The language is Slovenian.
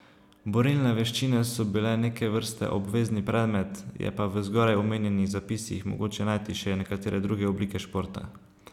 Borilne veščine so bile neke vrste obvezni predmet, je pa v zgoraj omenjenih zapisih, mogoče najti še nekatere druge oblike športa.